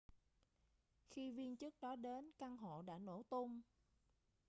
khi viên chức đó đến căn hộ đã nổ tung